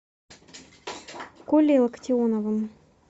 колей локтионовым